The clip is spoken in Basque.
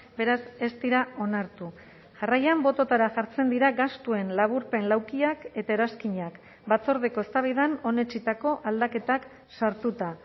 beraz ez dira onartu jarraian bototara jartzen dira gastuen laburpen laukiak eta eranskinak batzordeko eztabaidan onetsitako aldaketak sartuta